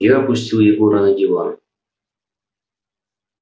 я опустил егора на диван